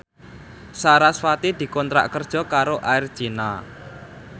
sarasvati dikontrak kerja karo Air China